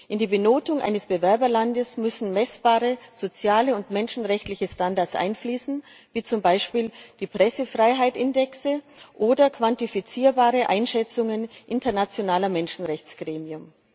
In die Benotung eines Bewerberlandes müssen messbare soziale und menschenrechtliche Standards einfließen, wie zum Beispiel die Pressefreiheitsindexe oder quantifizierbare Einschätzungen internationaler Menschenrechtsgremien.